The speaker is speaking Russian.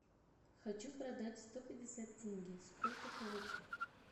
хочу продать сто пятьдесят тенге сколько получу